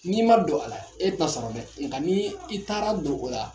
N'i m'a don a la e tɛna sɔrɔ dɛ nka n'i taara don o la.